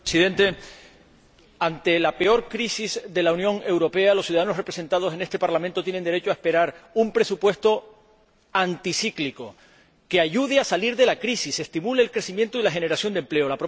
Señor Presidente, ante la peor crisis de la Unión Europea, los ciudadanos representados en este Parlamento tienen derecho a esperar un presupuesto anticíclico, que ayude a salir de la crisis y estimule el crecimiento y la generación de empleo.